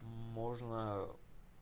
можно